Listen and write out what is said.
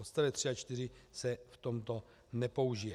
Odstavec 3 a 4 se v tomto nepoužije.